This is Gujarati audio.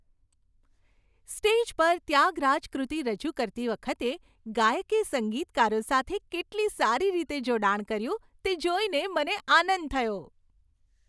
સ્ટેજ પર 'ત્યાગરાજ કૃતિ' રજૂ કરતી વખતે ગાયકે સંગીતકારો સાથે કેટલી સારી રીતે જોડાણ કર્યું તે જોઈને મને આનંદ થયો.